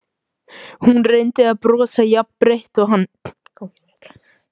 Hún reyndi að brosa jafn breitt og hann.